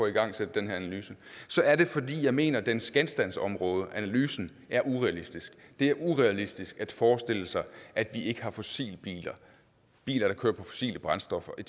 igangsætte den her analyse er det fordi jeg mener at dens genstandsområde analysen er urealistisk det er urealistisk at forestille sig at vi ikke har fossilbiler biler der kører på fossile brændstoffer i